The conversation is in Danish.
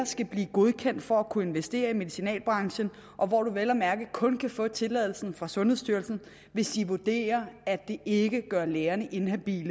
skal godkendes for at kunne investere i medicinalbranchen og hvor man vel at mærke kun kan få tilladelsen fra sundhedsstyrelsen hvis de vurderer at det ikke gør lægen inhabil